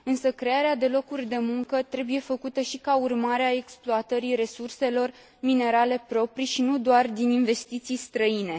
Crearea de locuri de muncă trebuie făcută și ca urmare a exploatării resurselor minerale proprii și nu doar din investiții străine.